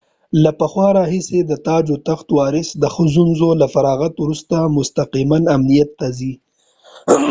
له پخوا راهیسې د تاج و تخت وارث د ښوونځي له فراغت وروسته مستقماً امنیت ته ځي